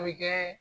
A bɛ kɛ